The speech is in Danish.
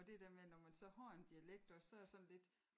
Og det der med når man så har en dialekt også så er det sådan lidt